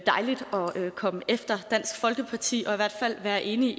komme efter dansk folkeparti og i hvert fald være enige